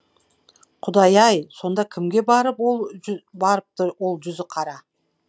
құдай ай сонда кімге барыпты ол жүзіқара